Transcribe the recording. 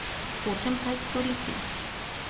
Hočem kaj storiti.